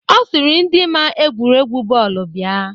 Ọ sịrị ndị ma egwuregwu bọọlụ bịa.